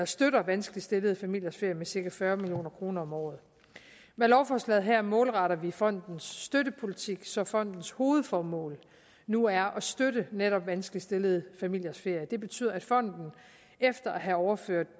støtter vanskeligt stillede familiers ferier med cirka fyrre million kroner om året med lovforslaget her målretter vi fondens støttepolitik så fondens hovedformål nu er at støtte netop vanskeligt stillede familiers ferier det betyder at fonden efter at have overført